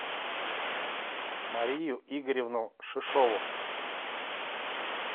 марию игоревну шишову